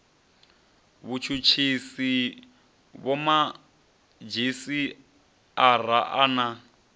vhutshutshisi vhomadzhisi ara a na